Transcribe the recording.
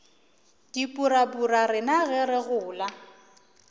dipurabura rena ge re gola